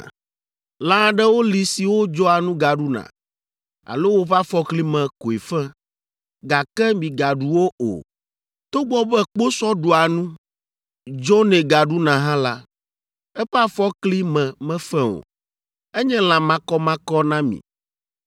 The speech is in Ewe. “ ‘Lã aɖewo li siwo dzɔa nu gaɖuna alo woƒe afɔkli me koe fe, gake migaɖu wo o. Togbɔ be kposɔ ɖua nu, dzonɛ gaɖuna hã la, eƒe afɔkli me mefe o. Enye lã makɔmakɔ na mi.